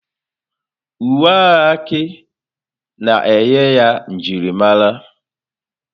Uwe agha Aki na-enye ya njirimara.